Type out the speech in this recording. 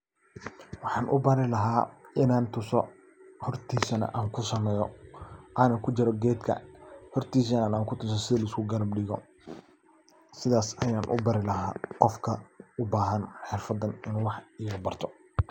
Waxaan u bari hortiisana aan kusameeyo ano kujira geedka hoortiisana aan kutuso si la isku garab digo sidas ayan u bari laha qofka u bahan xirfadan inu wax kabarto.